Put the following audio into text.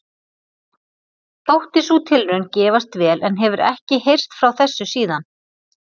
Þótti sú tilraun gefast vel en hefur ekki heyrst frá þessu síðan.